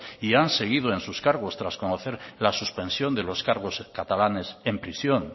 y han seguido en sus cargos tras conocer la suspensión de los cargos catalanes en prisión